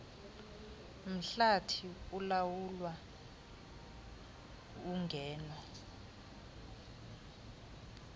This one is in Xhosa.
mhlathi ulawula ungeno